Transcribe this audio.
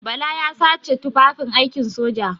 Bala ya sace tufafin aikin soja.